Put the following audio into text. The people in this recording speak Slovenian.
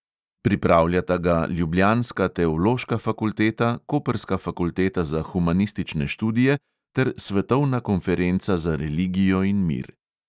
Pripravljata ga ljubljanska teološka fakulteta, koprska fakulteta za humanistične študije ter svetovna konferenca za religijo in mir.